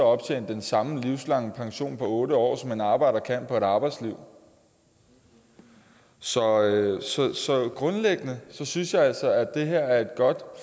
optjene den samme livslange pension på otte år som en arbejder kan på et helt arbejdsliv så grundlæggende synes jeg altså at det her er et godt